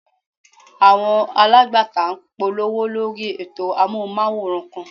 Àwọn alágbàtà ń polówó lórí ètò Amóhùnmáwòrán kan.